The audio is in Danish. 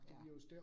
Ja